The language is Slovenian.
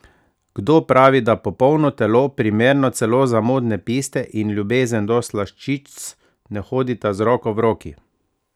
Kdo pravi, da popolno telo, primerno celo za modne piste, in ljubezen do slaščic ne hodita z roko v roki?